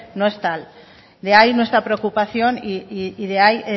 no es tal de ahí nuestra preocupación y de ahí